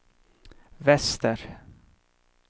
väster